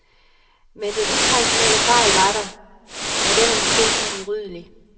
Men den traditionelle fejl var der, og den er måske uudryddelig.